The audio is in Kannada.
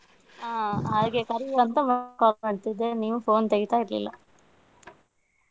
ಹ್ಮ್ ಹಾಗೆ ಕರೆಯುವಾ ಅಂತ call ಮಾಡ್ತಿದ್ದೆ ನೀವು phone ತೆಗಿತಾ ಇರ್ಲಿಲ್ಲ.